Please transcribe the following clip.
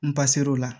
N ba ser'o la